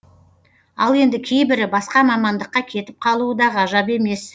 ал енді кейбірі басқа мамандыққа кетіп қалуы да ғажап емес